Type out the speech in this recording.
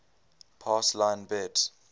pass line bet